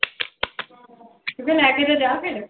ਤੂੰ ਕਹਿ ਲੈ ਕੇ ਤਾਂ ਜਾ ਫਿਰ।